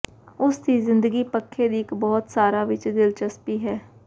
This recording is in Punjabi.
ਉਸ ਦੀ ਜ਼ਿੰਦਗੀ ਪੱਖੇ ਦੀ ਇੱਕ ਬਹੁਤ ਸਾਰਾ ਵਿੱਚ ਦਿਲਚਸਪੀ ਹੈ